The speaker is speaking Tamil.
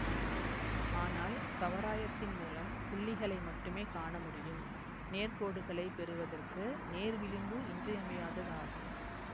ஆனால் கவராயத்தின் மூலம் புள்ளிகளை மட்டுமே காண முடியும் நேர்கோடுகளைப் பெறுவதற்கு நேர்விளிம்பு இன்றியமையாததாகும்